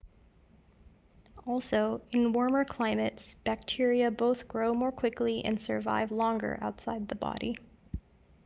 also in warmer climates bacteria both grow more quickly and survive longer outside the body